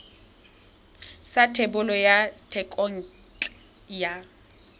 sa thebolo ya thekontle ya